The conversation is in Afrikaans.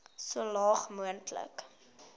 so laag moontlik